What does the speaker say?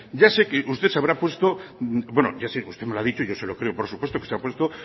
ya sé que usted se habrá puesto bueno ya sé usted me lo ha dicho y yo se lo creo por supuesto que se ha puesto